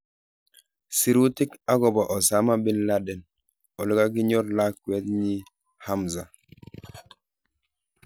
Sirutik akobo Osama Binladen olekakinyor lakwet nyi Hamza.